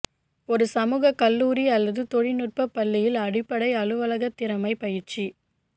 ஒரு சமூக கல்லூரி அல்லது தொழில்நுட்ப பள்ளியில் அடிப்படை அலுவலக திறமை பயிற்சி